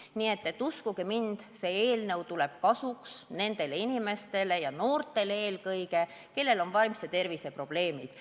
Nii et uskuge mind, see eelnõu tuleb kasuks nendele inimestele ja eelkõige noortele, kellel on vaimse tervise probleemid.